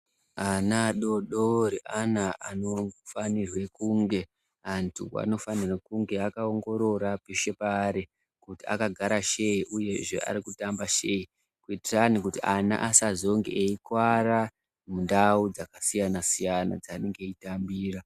Ana adodori ana anofanirwa kunge anthu anofanira kunge akaongorora peshe paari kuti akagara shei uyezve kuti arikutamba shei kuitirani kuti asazonge eikuwara mundau dzakasiyana siyana dzaanenge eitambira